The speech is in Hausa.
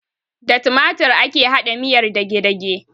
Da timatir ake haɗa miyar dagedage